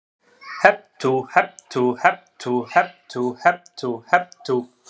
Hep tú, hep tú, hep tú, hep tú hep tú, hep tú.